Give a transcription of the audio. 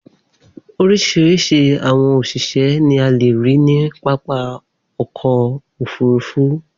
Oríṣiríṣi àwọn òṣìṣẹ́ ni a le rí ní pápá ọkọ̀-òfurufú.